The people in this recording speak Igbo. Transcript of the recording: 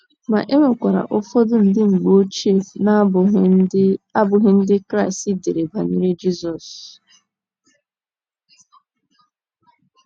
Ma, e nwekwara ụfọdụ ndị mgbe ochie na - abụghị Ndị - abụghị Ndị Kraịst dere banyere Jizọs.